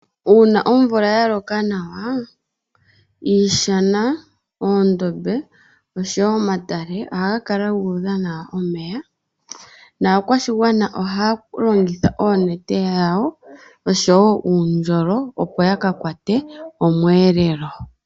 Una omvula ya loka nawa iishana, oondombe osho wo omatale oha ga kala gudha nawa omeya. Naakwashigwana oha ya longitha oonete dhawo osho wo uundjolo opo ya ka kwate omweelelo.